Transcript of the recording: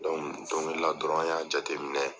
don wɛrɛ la dɔrɔn an y'a jateminɛ